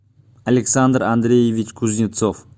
александр андреевич кузнецов